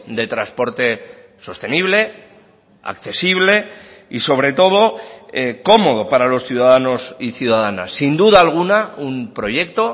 de transporte sostenible accesible y sobre todo cómodo para los ciudadanos y ciudadanas sin duda alguna un proyecto